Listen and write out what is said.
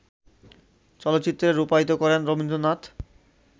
চলচ্চিত্রে রূপায়িত করেন রবীন্দ্রনাথ